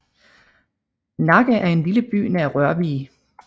Nakke er en lille by nær Rørvig